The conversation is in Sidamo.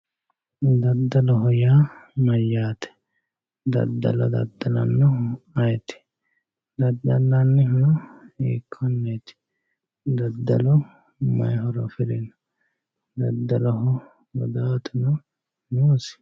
Dadalloho yaa mayate, dadallo dadalanohu ayeeti, dadalanihuno hiikoneti, dadallu mayi horo afirino, dadalloho gudaatu noosi?